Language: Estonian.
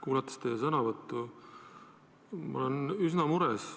Kuulanud teie sõnavõttu, olen ma üsna mures.